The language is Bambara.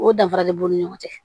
O danfara de b'u ni ɲɔgɔn cɛ